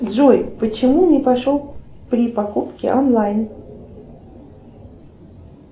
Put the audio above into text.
джой почему не пошел при покупке онлайн